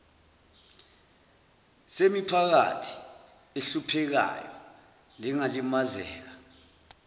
semiphakathi ehluphekayo nengalimazeka